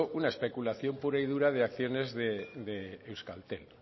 una especulación pura y dura de acciones de euskaltel